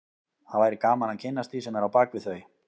Það væri gaman að kynnast því sem er á bak við þau